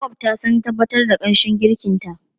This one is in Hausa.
Duk makwabta sun tabbatar da kamshin girkinta.